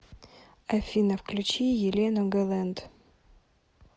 афина включи елену гэлэнт